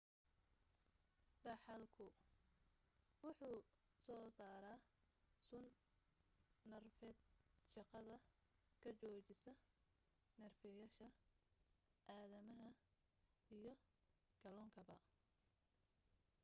daxalku wuxu soo saaraa sun neerfeed shaqada ka joojisa neerfayaasha aadamaha iyo kalluunkaba